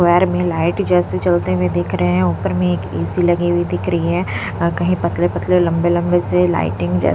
क्वयार में लाइट जैसे चलते हुए दिख रहे हैं ऊपर में एक ए_सी लगी हुई दिख रही है कहीं पतले पतले लंबे लंबे से लाइटिंग जै --